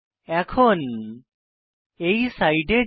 এখন এই সাইটে যাই